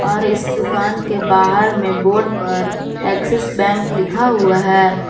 और इस दुकान के बाहर में बोर्ड पर एक्सिस बैंक लिखा हुआ है।